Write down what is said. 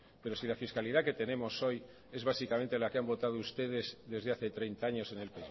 pero si la fiscalidad que tenemos hoy es básicamente la que han votado ustedes desde hace treinta años en el